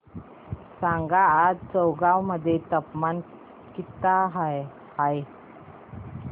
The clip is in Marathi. सांगा आज चौगाव मध्ये तापमान किता आहे